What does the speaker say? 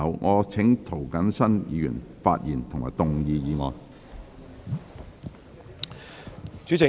我請涂謹申議員發言及動議議案。